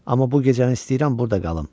Amma bu gecəni istəyirəm burda qalım.